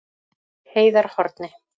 Heiðarhorni